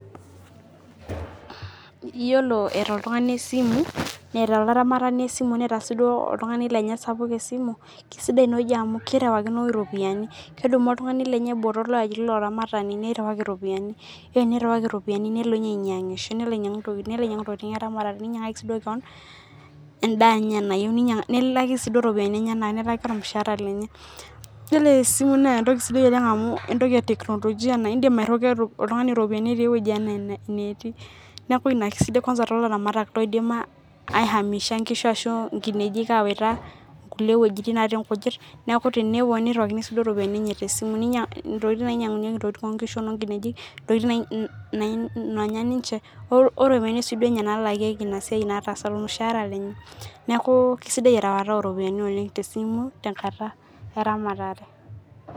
Iyilo eata oltungani esimu, neata laramatani esimu, neeta sii duo oltungani lenye sapuk esimu, esidaii enaaji oleng amu kerawikino iropiyiani. Kedumu oltungani lenye botorr laaji loramatani nerawaki iropiyiani, iyolo tenirawaki iropiyiani nelo ninye ainyang'isho, nelo ainyang'u ntokitin, nelo ainyang'u ntokitin eramatare, neinyang'aki sii duo keon endaa enye nayeu, nilaaki sii duo iropiyiani enyena, nilaaki olmushaara lenye. Iyolo esimu naa entoki sidai oleng amu entoki e teknolojia naa indim airuwaki oltungani iropiyiani etii eweji enaa ine netii, naaku ina kesidai kwans too laramatak loidim aamisha inkishu ashu nkineji kaiwata nkule wejitin natii nkujit, naaku tenelo neiruakini sii duo iropiyiani enye te esimu, neinyang'u ntokitin nainyang'unyeki ntokitin e nkishu o noonkineji, ntokitin naanya ninche, ore peyie si duo ninye nalaakieki ina siai nataasa ilasiayani, naaku kesidia rewata oo iropiyiani oleng te esimu tenkata eramatare.